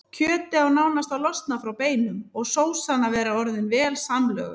Kjötið á nánast að losna frá beinum og sósan að vera orðin vel samlöguð.